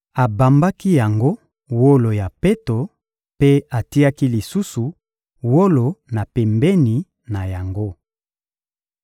Abambaki yango wolo ya peto mpe atiaki lisusu wolo na pembeni na yango.